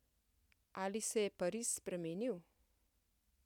Ali se je Pariz spremenil?